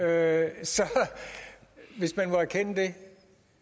altså hvis man må erkende det